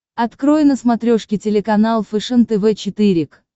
открой на смотрешке телеканал фэшен тв четыре к